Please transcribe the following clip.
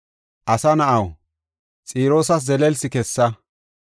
“Asa na7aw, Xiroosas zelelsi kessa.